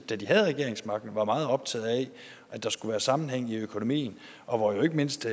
da de havde regeringsmagten var meget optaget af at der skulle være sammenhæng i økonomien og at ikke mindst